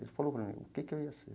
Ele falou para mim o que que eu ia ser.